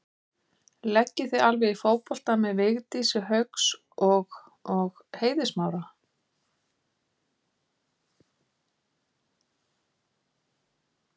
Leggið þið alveg í fótbolta með Vigdísi Hauks og og Eiði Smára?